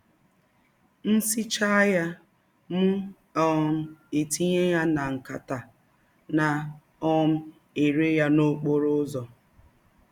M sichaa ya, mụ um etinye ya na ya na nkata, na um - ere ya n’ọkpọrọ ụzọ.